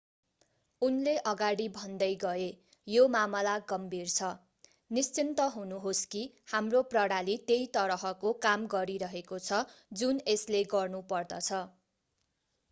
उनले अगाडि भन्दै गए यो मामला गम्भीर छ निश्चिन्त हुनुहोस् कि हाम्रो प्रणाली त्यही तरहको काम गरिरहेको छ जुन यसले गर्नुपर्दछ